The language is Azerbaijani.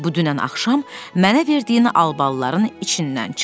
Bu dünən axşam mənə verdiyin albalıların içindən çıxdı.